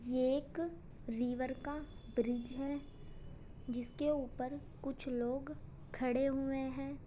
ये एक रीवर का ब्रिज है जिसके ऊपर कुछ लोग खड़े हुए हैं।